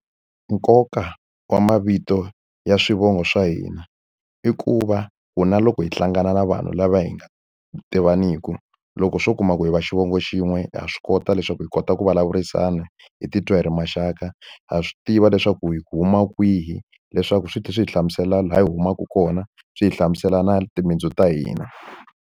Nkoka wa mavito ya swivongo swa hina i ku va ku na loko hi hlangana na vanhu lava hi nga tivaniki, loko swo kuma ku hi va xivongo xin'we ha swi kota leswaku hi kota ku vulavurisana, hi titwa hi ri maxaka. Ha swi tiva leswaku hi huma kwihi, leswaku swi tlhela swi hi hlamusela laha hi humaka kona, swi hi hlamusela na timitsu ta hina.